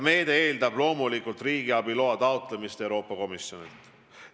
Meede eeldab loomulikult riigiabiloa taotlemist Euroopa Komisjonilt.